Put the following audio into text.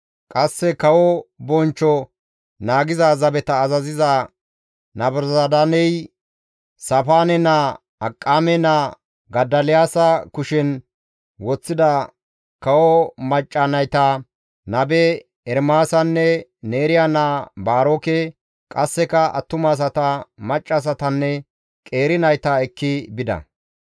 Qasse kawo bonchcho naagiza zabeta azaziza Nabuzaradaaney Saafaane naa, Akiqaame naa Godoliyaasa kushen woththida kawo macca nayta, nabe Ermaasanne Neeriya naa Baaroke, qasseka attumasata, maccassatanne qeeri nayta ekki bida.